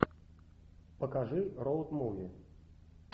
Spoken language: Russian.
покажи роуд муви